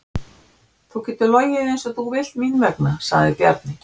Þú getur logið eins og þú vilt mín vegna, sagði Bjarni.